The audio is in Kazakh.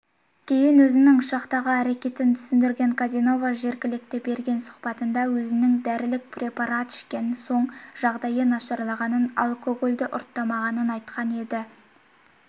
кейін өзінің ұшақтағы әркетін түсіндірген каденова жергілікті берген сұхбатында өзінің дәрілік препарат ішкен соң жағдайы нашарлағанын алкогольді ұрттамағанын айтқан еді